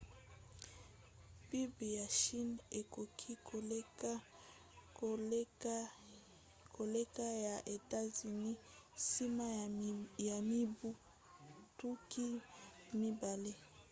pib ya chine ekoki koleka ya états-unis nsima ya mibu tuku mibale